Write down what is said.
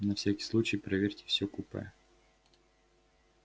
на всякий случай проверьте всё купе